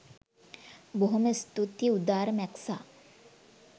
බොහොම ඉස්තූතී උදාර මැක්සා.